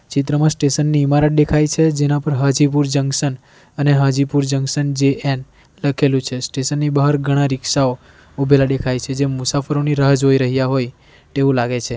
ચિત્રમાં સ્ટેશન ની ઇમારત દેખાય છે જેના પર હાજીપુર જંકશન અને હાજીપુર જંકશન જે એન લખેલું છે સ્ટેશન ની બહાર ઘણા રિક્ષાઓ ઉભેલા દેખાય છે જે મુસાફરોની રાહ જોઈ રહ્યા હોય તેવું લાગે છે.